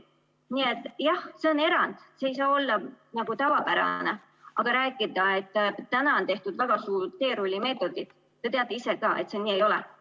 Nii et jah, see on erand, see ei saa olla tavapärane, aga rääkida, et täna on tehtud väga suurel teerullimeetodil – te teate ise ka, et see nii ei ole.